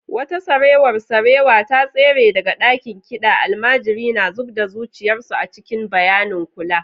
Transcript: Wata sarewar sarewa ta tsere daga ɗakin kiɗan, almajiri na zub da zuciyar su a cikin bayanin kula.